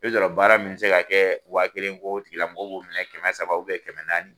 I bi sɔrɔ baara min bɛ se ka kɛ wa kelen ko o tigilamɔgɔw minɛ kɛmɛ saba kɛmɛ naani